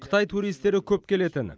қытай туристері көп келетін